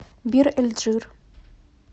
бир эль джир